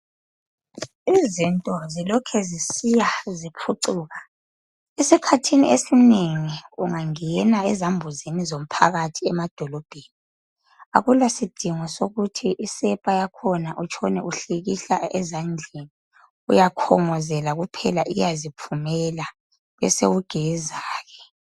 izinto zilokhe zisiya ziphucuka esikhathini esinengi kungangena ezambuzini zaphakathi emadolobheni akula sidingo sokuthi isepa uhilihlele ezandleni uyakhongozela nje iyaziphumela bese ugeza